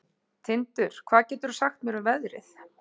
Tindur, hvað geturðu sagt mér um veðrið?